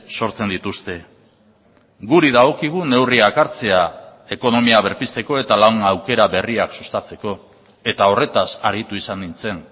sortzen dituzte guri dagokigu neurriak hartzea ekonomia berpizteko eta lan aukera berriak sustatzeko eta horretaz aritu izan nintzen